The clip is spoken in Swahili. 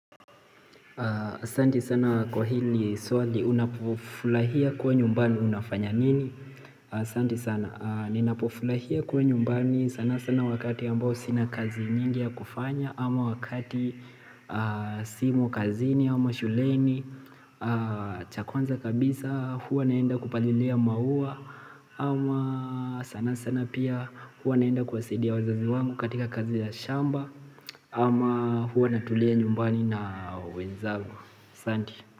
Asanti sana kwa hili swali unapo furahia kua nyumbani unafanya nini? Asanti sana ninapo furahia kua nyumbani sana sana wakati ambao sina kazi nyingi ya kufanya ama wakati simo kazini ama shuleni chabkwanza kabisa huwa naenda kupalilia maua ama sana sana pia huwa naenda kuwasidia wazazi wangu katika kazi ya shamba ama huwa natulia nyumbani na wenzangu asanti.